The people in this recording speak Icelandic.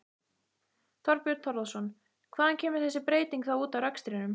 Þorbjörn Þórðarson: Hvar kemur þessi breyting þá út í rekstrinum?